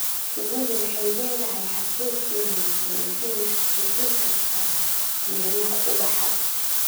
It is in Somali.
Shinnidu waxay leedahay xasuus wanaagsan waxayna xasuusan kartaa meelaha ubaxa.